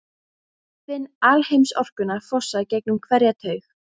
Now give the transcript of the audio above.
Finn alheimsorkuna fossa gegnum hverja taug.